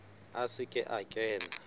a se ke a kena